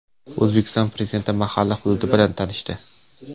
O‘zbekiston Prezidenti mahalla hududi bilan tanishdi.